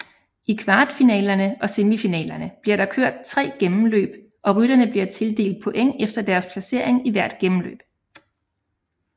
I kvartfinalerne og semifinalerne bliver der kørt tre gennemløb og rytterne bliver tildelt points efter deres placering i hvert gennemløb